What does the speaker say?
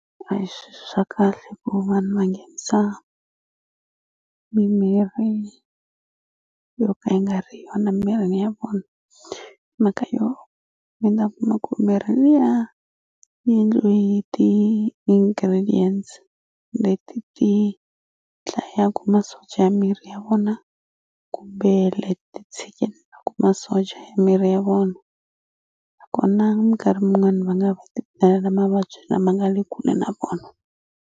A hi swi swa kahle ku vanhu va nghenisa mimirhi yo ka yi nga ri yona mirini ya vona mhaka yo mi ta kuma ku mirhi liya yi endliwe hi ti ingredients leti ti dlayaku masocha ya miri ya vona kumbe leti tshikelelaku masocha ya miri ya vona nakona minkarhi min'wani va nga va mavabyi lama nga le kule na vona.